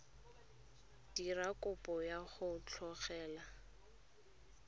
dira kopo ya go tlogela